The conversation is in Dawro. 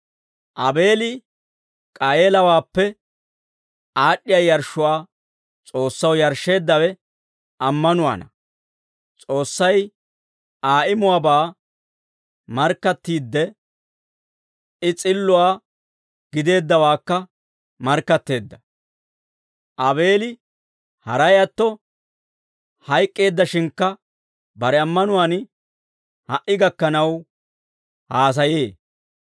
Aabeeli K'aayeelawaappe aad'd'iyaa yarshshuwaa S'oossaw yarshsheeddawe ammanuwaana. S'oossay Aa imuwaabaa markkattiidde, I s'illuwaa gideeddawaakka markkatteedda; Aabeeli haray atto hayk'k'eeddashshinkka, bare ammanuwaan ha"i gakkanaw haasayee.